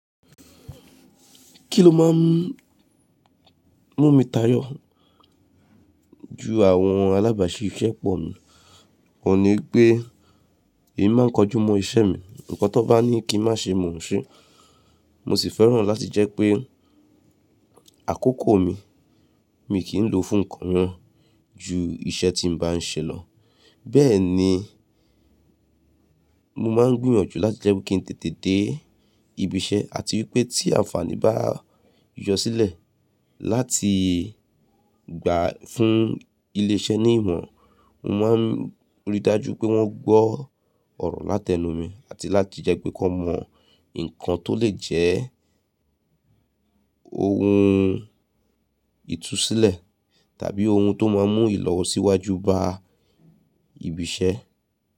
Kí lo má n mú mi tayọ ju àwọn alábàáṣi iṣẹ́ pọ̀ mi? Òní pé èmi má n kojú mọ́ iṣẹ́ mi. Ǹkan tó bá ní kí n má ṣe, mò n ṣe. Mo sì fẹ́ràn láti jẹ́ pé àkókò mi, mi kì í lò fún nǹkan ju iṣẹ́ tí n bá n ṣe lọ. Bẹ́ẹ̀ ni mo má n gbìyànjú láti jẹ́ pé kí n tètè dé ibi iṣẹ́ àti wípé tí àǹfààní bá yọ sílẹ̀ láti gbà fún ilé iṣẹ́ ní ìmọ̀ran, mo má n ríi dájú pé wọ́n gbọ́ ọ̀rọ̀ láti ẹnu mi àti láti jẹ́ pé kí wọ́n mọ nǹkan tó lè jẹ́ ohun ìtusílẹ̀ tàbí ohun tó má n mú Ìlọ̀wọ̀síwájú bá ibi iṣẹ́.